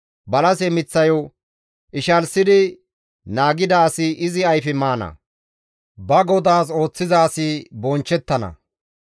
Balase miththayo ishalsidi naagida asi izi ayfe maana; ba godaas ooththiza asi bonchchettana.